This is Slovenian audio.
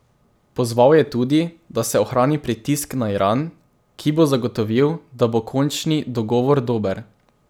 Pozval je tudi, da se ohrani pritisk na Iran, ki bo zagotovil, da bo končni dogovor dober.